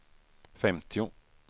femtio